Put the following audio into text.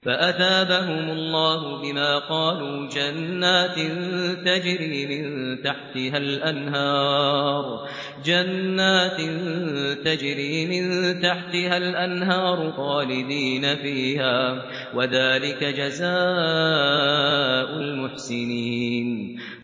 فَأَثَابَهُمُ اللَّهُ بِمَا قَالُوا جَنَّاتٍ تَجْرِي مِن تَحْتِهَا الْأَنْهَارُ خَالِدِينَ فِيهَا ۚ وَذَٰلِكَ جَزَاءُ الْمُحْسِنِينَ